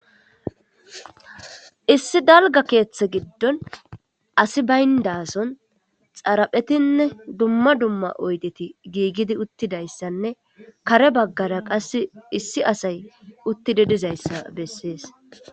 issi dalga keeththe giddon asi bayndason xaraphetinne dumma dumma oydeti giigidi uttidayssanne kare baggara qass issi asay uttidi dizayssa bessees